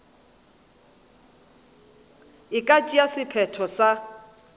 e ka tšea sephetho sa